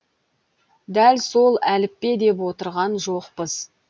дәл сол әліппе деп отырған жоқпыз